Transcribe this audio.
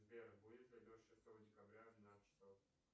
сбер будет ли дождь шестого декабря в двенадцать часов